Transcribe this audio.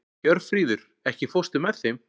Hjörfríður, ekki fórstu með þeim?